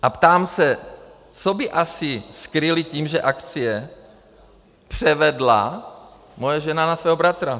A ptám se, co by asi skryli tím, že akcie převedla moje žena na svého bratra.